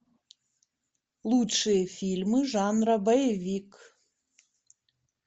лучшие фильмы жанра боевик